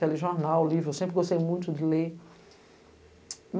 Telejornal, livro, eu sempre gostei muito de ler.